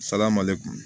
Salamale kun